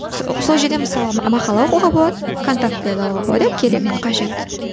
сол жерден мысалы мақала оқуға болады контактілерді алуға болады иә керек қажет